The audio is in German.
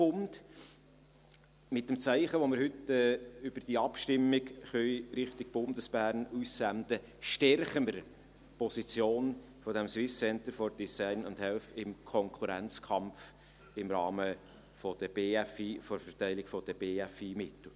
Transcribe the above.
Mit dem Zeichen, welches wir mit der heutigen Abstimmung in Richtung Bundesbern senden können, stärken wir die Position dieses SCDH im Konkurrenzkampf im Rahmen der Verteilung der BFI-Mittel.